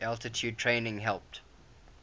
altitude training helped